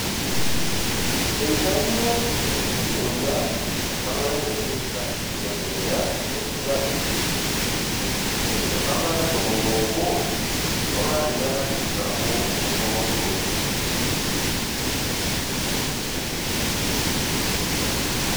Eitayio enkitoria empalai naipirta nkibelekenyat enkijiepe [NCA4] tolapa letomon oobo lolari lenkalifu nabo otomon oisiet.